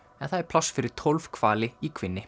en það er pláss fyrir tólf hvali í